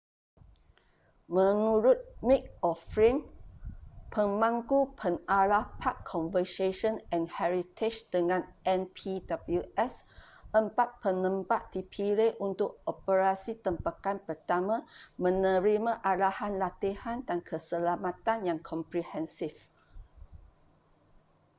menurut mick o'flynn pemangku pengarah park conversation and heritage dengan npws empat penembak dipilih untuk operasi tembakan pertama menerima arahan latihan dan keselamatan yang komprehensif